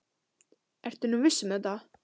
Ertu nú viss um þetta?